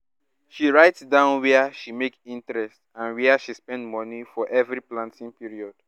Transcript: she write down wia she make interest and wia she spend money for every planting period